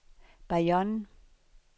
Bayonne